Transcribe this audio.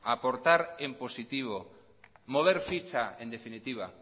aportar en positivo mover ficha en definitiva